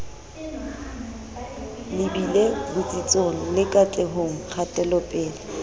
lebile botsitsong le katlehong kgatelopele